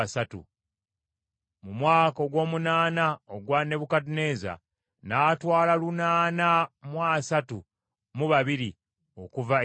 mu mwaka ogw’omunaana ogwa Nebukadduneeza, n’atwala lunaana mu asatu mu babiri okuva e Yerusaalemi;